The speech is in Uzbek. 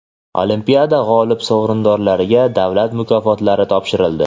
Olimpiada g‘olib va sovrindorlariga davlat mukofotlari topshirildi.